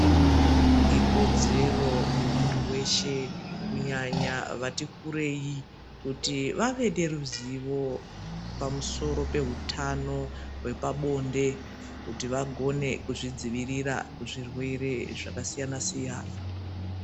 Ikodzedzero yemuntu weshe kunyanya vati kurei kuti vave neruzivo pamusoro peutano wepabhonde vagone kuzvidzivirira kuzvirwere zvaka siyana siyana.